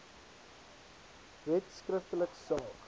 wet skriftelik saak